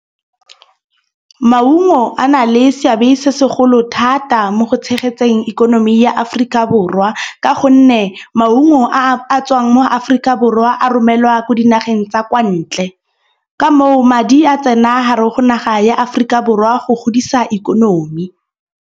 Maungo a na le seabe se segolo thata mo go tshegetseng ikonomi ya Aforika Borwa. Ka gonne maungo a a tswang mo Aforika borwa a romelwa ko dinageng tsa kwa ntle. Ka moo madi a tsena hara go naga ya Aforika Borwa go godisa ikonomi.